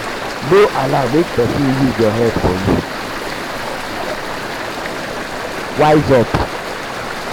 no allow make persin use your head for you wise for you wise up